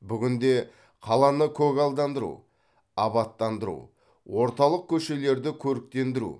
бүгінде қаланы көгалдандыру абаттандыру орталық көшелерді көріктендіру